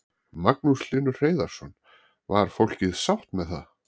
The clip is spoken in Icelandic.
Magnús Hlynur Hreiðarsson: Var fólkið sátt með það?